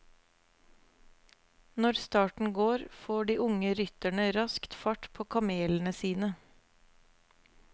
Når starten går får de unge rytterne raskt fart på kamelene sine.